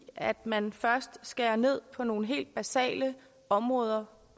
at man først skærer ned på nogle helt basale områder